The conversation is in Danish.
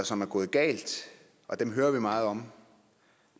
som er gået galt og dem hører vi meget om